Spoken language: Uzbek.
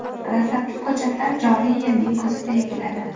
Dastlabki ko‘chatlar joriy yilning kuzida ekiladi.